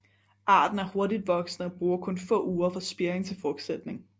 Arten er hurtigt voksende og bruger kun få uger fra spiring til frugtsætning